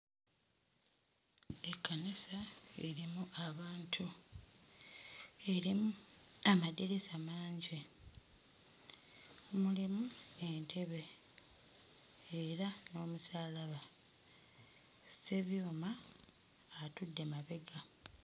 Ekkanisa erimu abantu, erimu amadirisa amangi, mulimu entebe era n'omusaalaba. Ssebyuma atudde mabega.